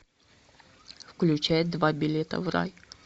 включай два билета в рай